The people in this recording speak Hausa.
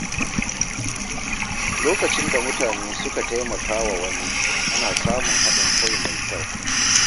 Lokacin da mutane suka taimaka wa wani, ana samun haɗin kai mai kyau.